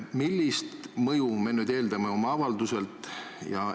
Millist mõju me nüüd eeldame oma avalduselt?